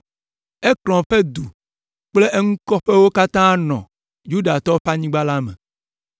Ekron ƒe du kple eŋukɔƒewo katã hã nɔ Yudatɔwo ƒe anyigba la me.